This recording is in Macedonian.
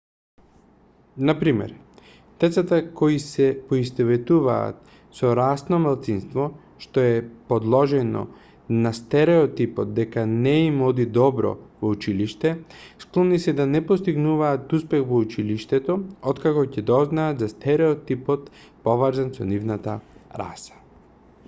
на пример децата кои се поистоветуваат со расно малцинство што е подложено на стереотипот дека не им оди добро во училиште склони се да не постигнуваат успех во училиштето откако ќе дознаат за стереотипот поврзан со нивната раса